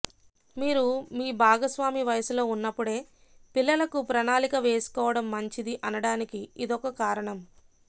మీరు మీ భాగస్వామి వయసులో ఉన్నపుడే పిల్లలకు ప్రణాళిక వేసుకోవడం మంచిది అనడానికి ఇదొక కారణం